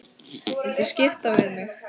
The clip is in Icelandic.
Viltu skipta við mig?